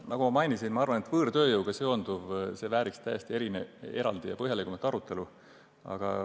Nagu ma mainisin, arvan ma, et võõrtööjõuga seonduv vääriks täiesti eraldi põhjalikumat arutelu.